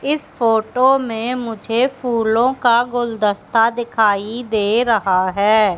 इस फोटो में मुझे फूलों का गुलदस्ता दिखाई दे रहा है।